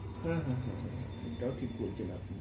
হ্যাঁ, হ্যাঁ, হ্যাঁ, হ্যাঁ এটাও ঠিক বলছেন আপনি,